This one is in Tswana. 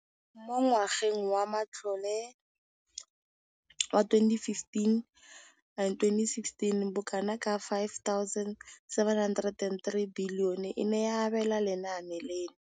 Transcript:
Mo ngwageng wa matlole wa 2015,16, bokanaka R5 703 bilione e ne ya abelwa lenaane leno.